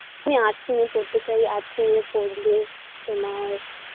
আমি arts নিয়ে পড়তে চাই arts নিয়ে পড়লে তোমার